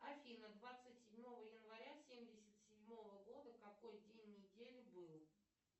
афина двадцать седьмого января семьдесят седьмого года какой день недели был